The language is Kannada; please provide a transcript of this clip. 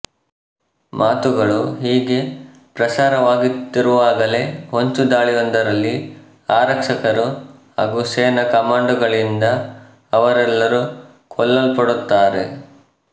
ಮಾತುಗಳು ಹೀಗೆ ಪ್ರಸಾರವಾಗುತ್ತಿರುವಾಗಲೇ ಹೊಂಚುದಾಳಿಯೊಂದರಲ್ಲಿ ಆರಕ್ಷಕರು ಹಾಗೂ ಸೇನಾ ಕಮಾಂಡೋಗಳಿಂದ ಅವರೆಲ್ಲರೂ ಕೊಲ್ಲಲ್ಪಡುತ್ತಾರೆ